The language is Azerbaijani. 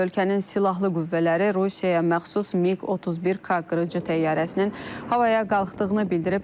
Ölkənin silahlı qüvvələri Rusiyaya məxsus MiQ-31K qırıcı təyyarəsinin havaya qalxdığını bildirib.